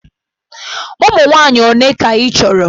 Ụmụ nwaanyị ole ka ị chọrọ?